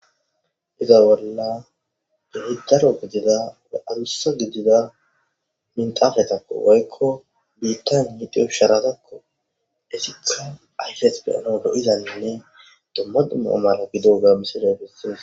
Izza bolla ichasu gidida adusa gidida minxafetappe woykko biittan diiza sharatako he sinththan ayffes xellanas loi'za dumma dumma mayo gidiyoga missiley besses.